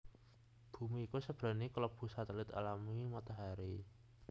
Bumi iku sebenere kelebu satelit alami Matahari